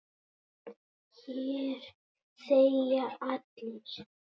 Hér þegja allir.